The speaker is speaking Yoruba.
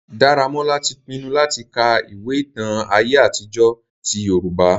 Daramola ti pinnu latì ka ìwe ìtan àye àtijọ ti Yorùbá.